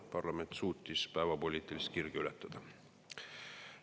Parlament suutis päevapoliitilist kirge ületada.